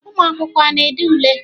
ụmụ akwụkwọ a na-ede ule?